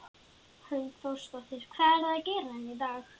Hrund Þórsdóttir: Hvað eruð þið að gera hérna í dag?